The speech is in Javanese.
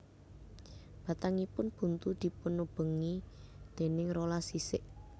Batangipun buntu dipunubengi déning rolas sisik